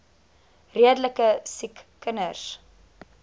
redelike siek kinders